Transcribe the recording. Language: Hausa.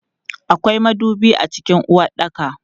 Akwai madubi a cikin uwaɗɗaka.